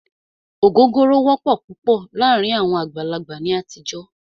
Ògógóró wọ́pọ̀ púpọ̀ láàárín àwọn àgbàlagbà ní àtijọ́.